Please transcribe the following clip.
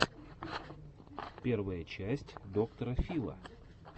первая часть доктора фила